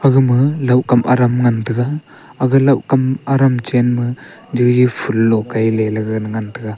gama laohkam aram ngan taiga aga laohkam aram chenma jaji phoolo kai lela ngan taiga.